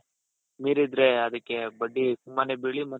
ಮೀರಿದ್ರೆ ಅದಕ್ಕೆ ಬಡ್ಡಿ ತುಂಬಾನೆ ಬೆಳೆಯುತ್ತೆ